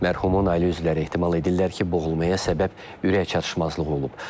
Mərhumun ailə üzvləri ehtimal edirlər ki, boğulmaya səbəb ürək çatışmazlığı olub.